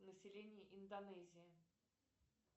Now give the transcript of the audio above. население индонезии